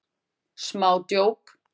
Smá djók.